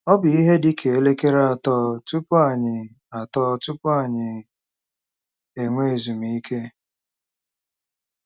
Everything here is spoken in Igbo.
Ọ bụ ihe dị ka elekere atọ tupu anyị atọ tupu anyị enwee ezumike.